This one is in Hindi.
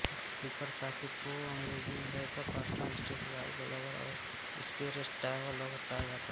पूर्तिकर साथी को अंग्रेज़ी में बैकअप पार्टनर स्टैंडबाई लवर और स्पेरटायर लवर कहा जाता है